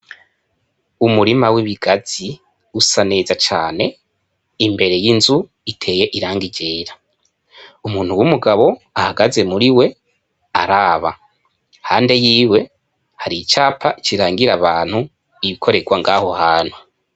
Umurima w' ibigazi usa neza cane imbere y' inzu iteye irangi ryera umuntu w' umugabo ahagaze muri we araba hande yiwe hari icapa kirangira abantu ibikoregwa aho hantu.